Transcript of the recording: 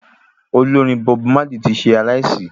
Olórin Bob Marley tí ṣe aláìsí